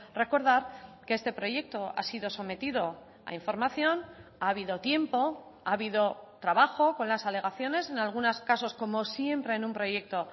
recordar que este proyecto ha sido sometido a información ha habido tiempo ha habido trabajo con las alegaciones en algunos casos como siempre en un proyecto